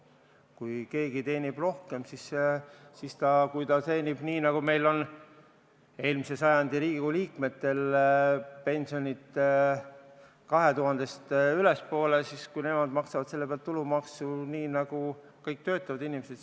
Kui keegi teenib rohkem, siis säilib see, nagu on eelmise sajandi Riigikogu liikmetega, kelle pension on 2000 eurost ülespoole ja nad maksavad selle pealt tulumaksu nagu kõik töötavad inimesed.